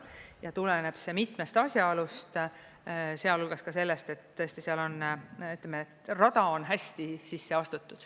Ja tuleneb see mitmest asjaolust, sealhulgas ka sellest, et tõesti seal on, ütleme, rada hästi sisse astutud.